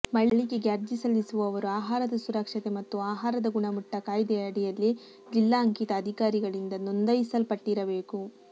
ಮಳಿಗೆಗೆ ಅರ್ಜಿಸಲ್ಲಿಸುವವರು ಆಹಾರದ ಸುರಕ್ಷತೆ ಮತ್ತು ಆಹಾರದ ಗುಣಮಟ್ಟ ಕಾಯ್ದೆ ಅಡಿಯಲ್ಲಿ ಜಿಲ್ಲಾ ಅಂಕಿತ ಅದಿಕಾರಿಗಳಿಂದ ನೊಂದಾಯಿಸಲ್ಪಟ್ಟಿರಬೇಕು